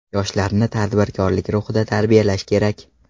Yoshlarni tadbirkorlik ruhida tarbiyalash kerak.